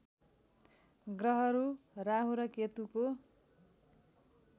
ग्रहहरू राहु र केतुको